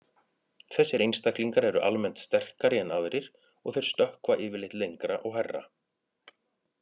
Þessir einstaklingar eru almennt sterkari en aðrir og þeir stökkva yfirleitt lengra og hærra.